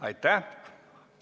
Aitäh!